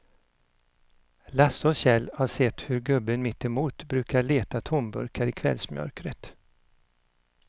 Lasse och Kjell har sett hur gubben mittemot brukar leta tomburkar i kvällsmörkret.